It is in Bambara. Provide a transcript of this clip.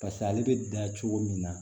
paseke ale be dan cogo min na